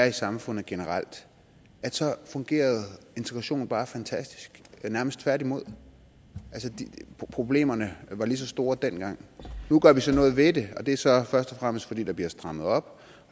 i samfundet generelt fungerede integrationen bare fantastisk nærmest tværtimod problemerne var lige så store dengang nu gør vi så noget ved det og det er så først og fremmest fordi der bliver strammet op